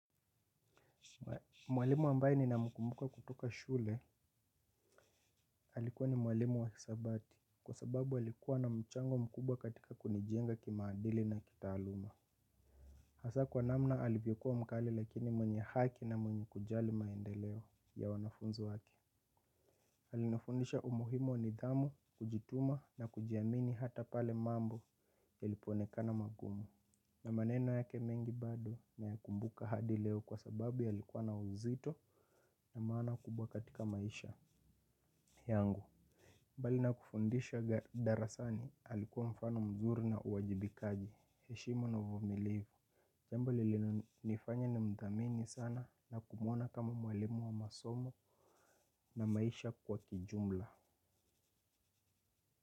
Mwalimu ambaye ninamkumbuka kutoka shule alikuwa ni mwalimu wa hisabati kwa sababu alikuwa na mchango mkubwa katika kunijenga kimaadili na kitaaluma. Hasa kwa namna alivyokuwa mkali lakini mwenye haki na mwenye kujali maendeleo ya wanafunzi wake alinifundisha umuhimu nidhamu kujituma na kujiamini hata pale mambo yalipoonekana magumu. Na maneno yake mengi bado naya kumbuka hadi leo kwa sababu yalikuwa na uzito na maana kubwa katika maisha yangu. Mbali na kufundisha darasani alikuwa mfano mzuri na uwajibikaji. Heshima na uvumilivu jambo lilinonifanya ni mthamini sana na kumwona kama mwalimu wa masomo na maisha kwa kijumla.